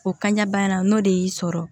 O kan ɲɛbana n'o de y'i sɔrɔ